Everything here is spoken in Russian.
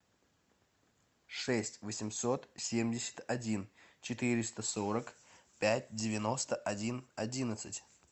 шесть восемьсот семьдесят один четыреста сорок пять девяносто один одиннадцать